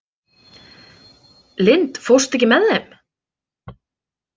Lind, ekki fórstu með þeim?